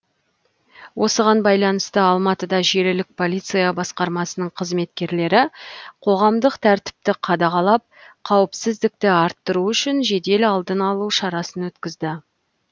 осыған байланысты алматыда желілік полиция басқармасының қызметкерлері қоғамдық тәртіпті қадағалап қауіпсіздікті арттыру үшін жедел алдын алу шарасын өткізді